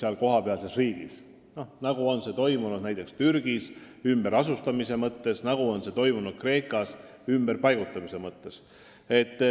Enne ümberasustamist on inimestega vesteldud näiteks Türgis, enne ümberpaigutamist Kreekas.